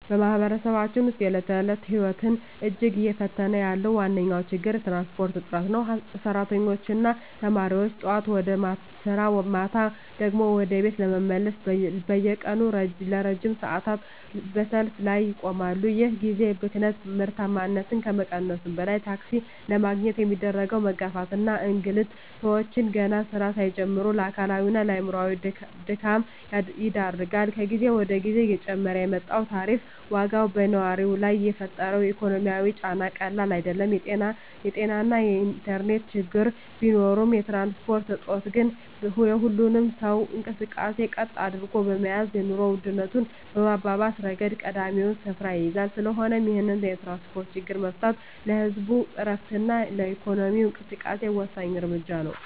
በማኅበረሰባችን ውስጥ የዕለት ተዕለት ሕይወትን እጅግ እየፈተነ ያለው ዋነኛው ችግር የትራንስፖርት እጥረት ነው። ሠራተኞችና ተማሪዎች ጠዋት ወደ ሥራ፣ ማታ ደግሞ ወደ ቤት ለመመለስ በየቀኑ ለረጅም ሰዓታት በሰልፍ ላይ ይቆማሉ። ይህ የጊዜ ብክነት ምርታማነትን ከመቀነሱም በላይ፣ ታክሲ ለማግኘት የሚደረገው መጋፋትና እንግልት ሰዎችን ገና ሥራ ሳይጀምሩ ለአካላዊና አእምሮአዊ ድካም ይዳርጋል። ከጊዜ ወደ ጊዜ እየጨመረ የመጣው የታሪፍ ዋጋም በነዋሪው ላይ የፈጠረው ኢኮኖሚያዊ ጫና ቀላል አይደለም። የጤናና የኢንተርኔት ችግሮች ቢኖሩም፣ የትራንስፖርት እጦት ግን የሁሉንም ሰው እንቅስቃሴ ቀጥ አድርጎ በመያዝ የኑሮ ውድነቱን በማባባስ ረገድ ቀዳሚውን ስፍራ ይይዛል። ስለሆነም ይህንን የትራንስፖርት ችግር መፍታት ለህዝቡ ዕረፍትና ለኢኮኖሚው እንቅስቃሴ ወሳኝ እርምጃ ነው።